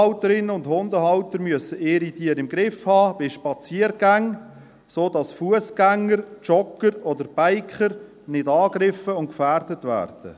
Die Hundehalterinnen und Hundehalter müssen ihre Tiere bei Spaziergängen im Griff haben, sodass Fussgänger, Jogger oder Biker nicht angegriffen und gefährdet werden.